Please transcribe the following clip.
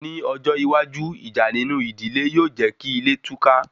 Ní ọjọ́ iwájú, ìjà nínú ìdílé yóò jékí ilé túká